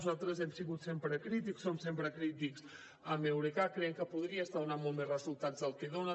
nosaltres hem sigut sempre crítics som sempre crítics amb eurecat creiem que podria estar donant molts més resultats dels que dona